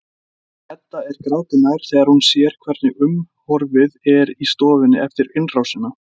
Edda er gráti nær þegar hún sér hvernig umhorfs er í stofunni eftir innrásina.